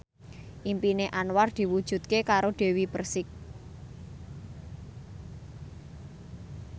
impine Anwar diwujudke karo Dewi Persik